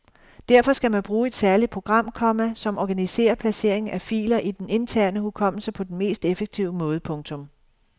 Derfor skal man bruge et særligt program, komma som organiserer placeringen af filer i den interne hukommelse på den mest effektive måde. punktum